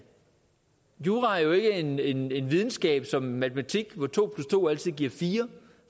jura er jo ikke en en videnskab som matematik hvor to plus to altid giver fire